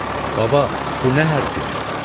Baba, bu nə hərf idi?